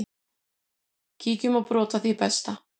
Kíkjum á brot af því besta.